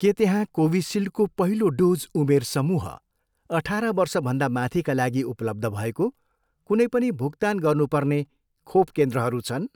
के त्यहाँ कोभिसिल्डको पहिलो डोज उमेर समूह अठार वर्षभन्दा माथिका लागि उपलब्ध भएको कुनै पनि भुक्तान गर्नुपर्ने खोप केन्द्रहरू छन्